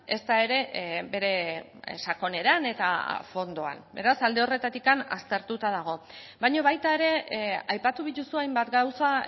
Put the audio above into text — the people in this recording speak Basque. ezta ere bere sakoneran eta fondoan beraz alde horretatik aztertuta dago baina baita ere aipatu dituzu hainbat gauza